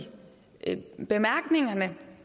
bemærkningerne